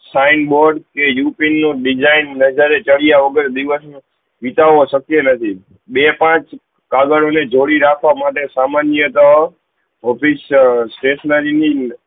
sign board કે ઉપીન નું design નજર ચડ્યા વગર દિવસ માં વિતાવો શક્ય નથી બે પાંચ કાગડો ને જોડી રાખવા માટે સામાન્ય તો office stationary ની